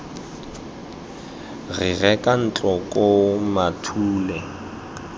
re reka ntlo koo mathule